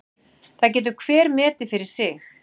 Það getur hver metið fyrir sig.